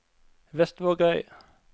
Vestvågøy